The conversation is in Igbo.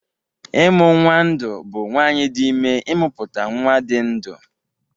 Ịmụ nnwa ndụ bụ nwaanyị dị ime ịmụpụta nnwa dị ndụ